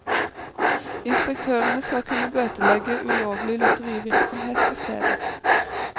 Inspektørene skal kunne bøtelegge ulovlig lotterivirksomhet på stedet.